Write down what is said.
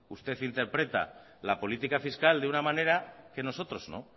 usted interpreta la política fiscal de una manera que nosotros no